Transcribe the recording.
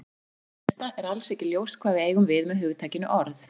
Fyrir það fyrsta er alls ekki ljóst hvað við eigum við með hugtakinu orð.